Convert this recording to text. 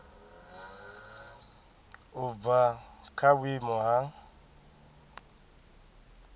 u bva kha vhuimo ha